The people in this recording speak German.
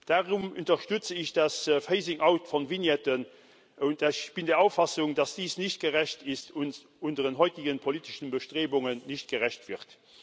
Darum unterstütze ich das phasing out von Vignetten, und ich bin der Auffassung, dass dies nicht gerecht ist und unseren heutigen politischen Bestrebungen nicht gerecht wird.